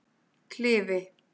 Klifi